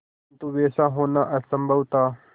किंतु वैसा होना असंभव था